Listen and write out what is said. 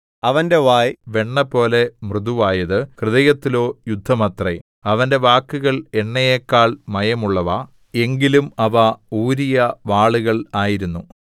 അവന്റെ വായ് വെണ്ണപോലെ മൃദുവായത് ഹൃദയത്തിലോ യുദ്ധമത്രേ അവന്റെ വാക്കുകൾ എണ്ണയെക്കാൾ മയമുള്ളവ എങ്കിലും അവ ഊരിയ വാളുകൾ ആയിരുന്നു